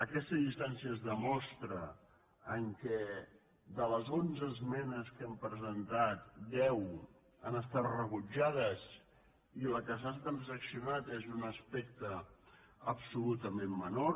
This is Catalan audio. aquesta distància es demostra en el fet que de les onze esmenes que hem presentat deu han estat rebutjades i la que s’ha trans·accionat és un aspecte absolutament menor